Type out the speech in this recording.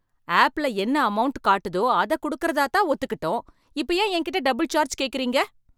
ஆப்ல என்ன அமௌன்ட் காட்டுதோ அதை கொடுக்கறதாதான் ஒத்துக்கிட்டோம். இப்ப ஏன் என்கிட்ட டபுள் சார்ஜ் கேக்குறீங்க?